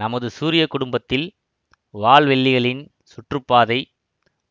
நமது சூரிய குடும்பத்தில் வால்வெள்ளிகளின் சுற்றுப்பாதை